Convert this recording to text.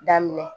Daminɛ